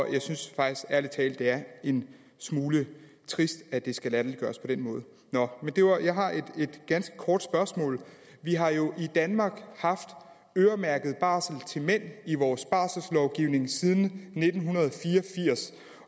jeg synes faktisk ærlig talt at det er en smule trist at det skal latterliggøres på den måde jeg har et ganske kort spørgsmål vi har jo i danmark haft øremærket barsel til mænd i vores barselslovgivning siden nitten fire og firs